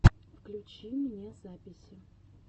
включи мне записи